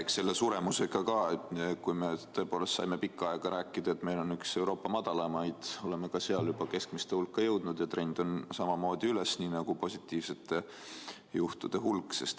Eks selle suremusega on nii, et kui me tõepoolest saime pikka aega rääkida, et meil on üks Euroopa madalamaid, siis nüüd oleme juba keskmiste hulka jõudnud ja trend on samamoodi üles, nii nagu nakatumisjuhtude puhul.